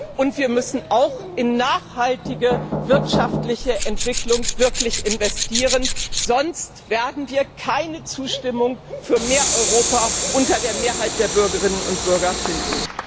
Und wir müssen auch wirklich in nachhaltige wirtschaftliche Entwicklung investieren, sonst werden wir keine Zustimmung für mehr Europa unter der Mehrheit der Bürgerinnen und Bürger finden.